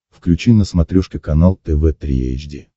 включи на смотрешке канал тв три эйч ди